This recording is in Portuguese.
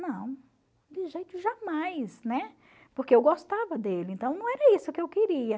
Não, de jeito jamais, né, porque eu gostava dele, então não era isso que eu queria.